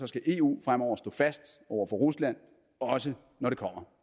skal eu fremover stå fast over for rusland også når det kommer